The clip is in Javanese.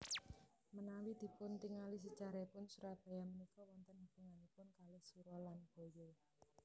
Menawi dipuntingali sejarahipun Surabaya menika wonten hubunganipun kalih sura lan baya